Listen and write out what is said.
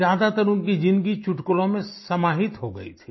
ज्यादातर उनकी जिंदगी चुटकुलों में समाहित हो गई थी